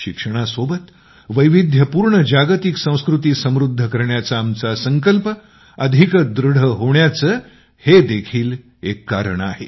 शिक्षणासोबत वैविध्यपूर्ण जागतिक संस्कृती समृद्ध करण्याचा आमचा संकल्प अधिक दृढ होण्याचे हे देखील एक कारण आहे